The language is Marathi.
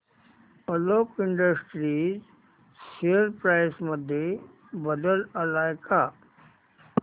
आलोक इंडस्ट्रीज शेअर प्राइस मध्ये बदल आलाय का